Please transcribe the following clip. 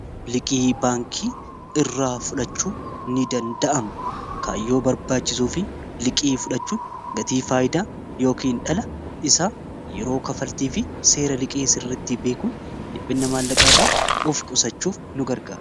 liqi'i baankii irraa fudhachuu ni danda'ama kaayyoo barbaachisuu fi liqii fudhachuun gatii faayidaa yookiihin dhala isa yeroo kafaltii fi seera liqii sirritti beekuun liphinna maallaqaa irraa of qusachuuf nu garga